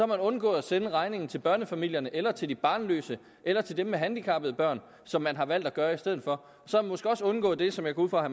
man undgået at sende regningen til børnefamilierne eller til de barnløse eller til dem med handicappede børn som man har valgt at gøre i stedet for så måske også undgået det som jeg går ud fra at